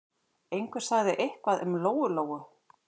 Einhver sagði eitthvað um Lóu-Lóu.